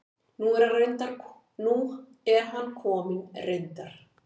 Nú er hann kominn reyndar.